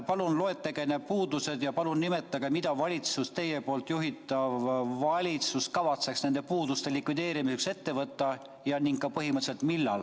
Palun loetlege need puudused ja palun nimetage, mida teie erakonna juhitav valitsus kavatseb nende puuduste likvideerimiseks ette võtta ja millal ta seda teeb.